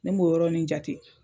Ne m'o yɔrɔni jate.